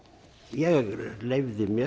ég leyfði mér